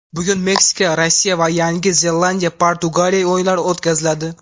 Bugun Meksika Rossiya va Yangi Zelandiya Portugaliya o‘yinlari o‘tkaziladi.